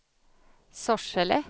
Sorsele